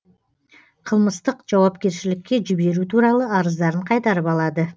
қылмыстық жауапкершілікке жіберу туралы арыздарын қайтарып алады